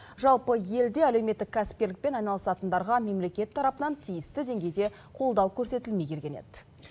жалпы елде әлеуметтік кәсіпкерлікпен айналысатындарға мемлекет тарапынан тиісті деңгейде қолдау көрсетілмей келген еді